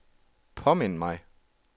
påmind mig